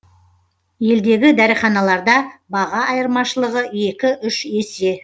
елдегі дәріханаларда баға айырмашылығы екі үш есе